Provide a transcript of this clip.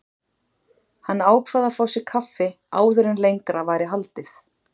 Hann ákvað að fá sér kaffi áður en lengra væri haldið.